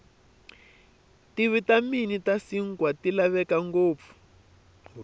tivitamini tashinkwa tilavekangopfu